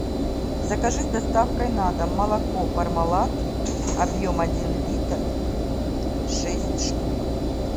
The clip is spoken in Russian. закажи с доставкой на дом молоко пармалат объем один литр шесть штук